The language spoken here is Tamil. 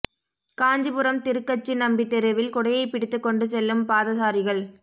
காஞ்சிபுரம் திருக்கச்சி நம்பி தெருவில் குடையை பிடித்துக் கொண்டு செல்லும் பாதசாரிகள்